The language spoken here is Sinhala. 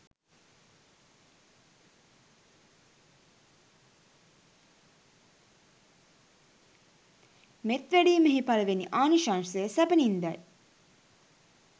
මෙත් වැඩීමෙහි පළමුවැනි ආනිශංසය සැපනින්දයි.